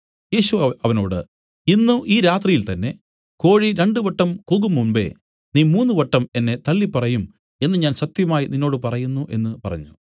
യേശു അവനോട് ഇന്ന് ഈ രാത്രിയിൽ തന്നേ കോഴി രണ്ടുവട്ടം കൂകുംമുമ്പെ നീ മൂന്നുവട്ടം എന്നെ തള്ളിപ്പറയും എന്നു ഞാൻ സത്യമായി നിന്നോട് പറയുന്നു എന്നു പറഞ്ഞു